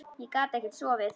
Ég gat ekkert sofið.